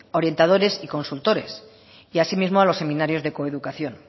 orientadores y consultores y asimismo a los seminarios de coeducación